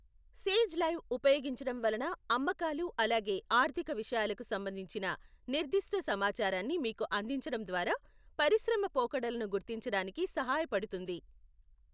Sage Live ఉపయోగించడం వలన అమ్మకాలు అలాగే ఆర్థిక విషయాలకు సంబంధించిన నిర్దిష్ట సమాచారాన్ని మీకు అందించడం ద్వారా పరిశ్రమ పోకడలను గుర్తించడానికి సహాయపడుతుంది.